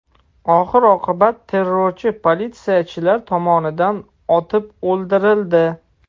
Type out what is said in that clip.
Oxir-oqibat terrorchi politsiyachilar tomonidan otib o‘ldirildi.